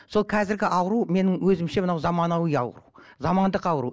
сол қазіргі ауру менің өзімше мынау заманауи ауру замандық ауру